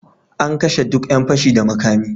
An kashe duk yan fashi da makami.